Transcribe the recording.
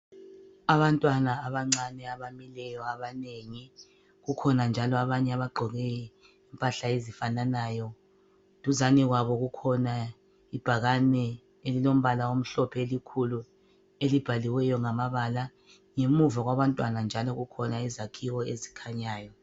Abantwana abancane abamileyo abanengi kukhona njalo abanye abagqoke impahla ezifananayo. Duzane kwabo kukhona ibhakane elilombala omhlophe elikhulu elibhaliweyo ngamabala. Ngemuva kwabantwana njalo kukhona izakhiwo ezikhanyayo.